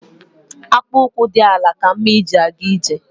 Akpu ụkwụ dị àlà ka mma e ji ga ije